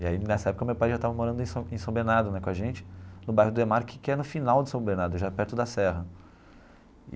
E aí, nessa época, meu pai já estava morando em São em São Bernardo né, com a gente, no bairro Demarchi, que é no final de São Bernardo, já perto da Serra.